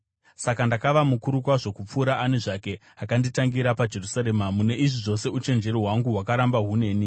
Saka ndakava mukuru kwazvo kupfuura ani zvake akanditangira paJerusarema. Mune izvi zvose uchenjeri hwangu hwakaramba huneni.